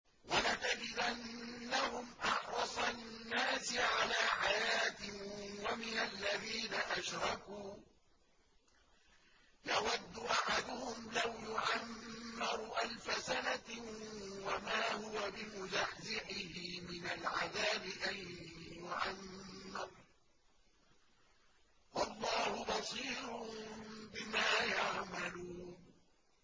وَلَتَجِدَنَّهُمْ أَحْرَصَ النَّاسِ عَلَىٰ حَيَاةٍ وَمِنَ الَّذِينَ أَشْرَكُوا ۚ يَوَدُّ أَحَدُهُمْ لَوْ يُعَمَّرُ أَلْفَ سَنَةٍ وَمَا هُوَ بِمُزَحْزِحِهِ مِنَ الْعَذَابِ أَن يُعَمَّرَ ۗ وَاللَّهُ بَصِيرٌ بِمَا يَعْمَلُونَ